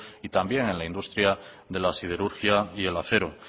y también en la industria de la siderurgia y del acero